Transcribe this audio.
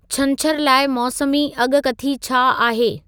छंछर लाइ मौसमी अॻकथी छा आहे